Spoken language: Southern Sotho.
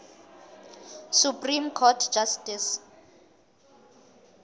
supreme court justice